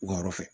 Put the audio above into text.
U ka yɔrɔ fɛ